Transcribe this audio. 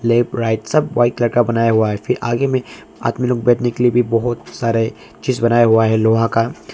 Left right सब white colour का बनाया हुआ है फिर आगे में आदमी लोग बैठने के लिए भी बहुत सारा चीज बनाया हुआ है लोहा का।